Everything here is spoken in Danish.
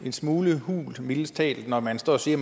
en smule hult mildest talt når man står og siger